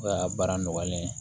O ka baara nɔgɔyalen